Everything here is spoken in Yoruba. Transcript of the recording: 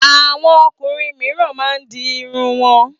Àwọn ọkùnrin mìíràn máa ń di irun wọn.